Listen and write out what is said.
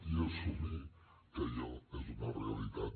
i assumir que allò és una realitat